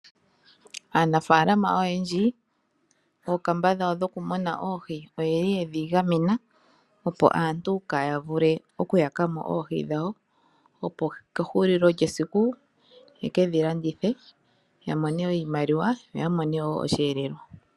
Aanafaalama oyendji oondama dhawo dhoku muna oohi oyeli yedhi gamena opo aantu kaayavule okuyaka mo oohi dhawo . Opo kehulilo lyesiku yekedhi landithe ya mone oshimaliwa yo ya mone woo osheelelwa.